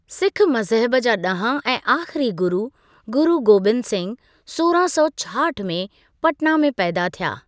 सिक़्ख मज़हब जा ॾहां ऐं आख़िरी गुरू, गुरू गोबिन्द सिंघ, सोरहां सौ छाहठि में पटना में पैदा थिया।